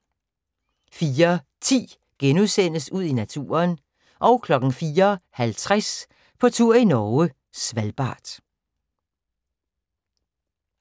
04:10: Ud i naturen * 04:50: På tur i Norge: Svalbard